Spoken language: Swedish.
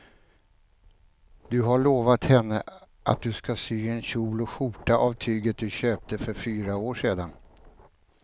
Du har lovat henne att du ska sy en kjol och skjorta av tyget du köpte för fyra år sedan.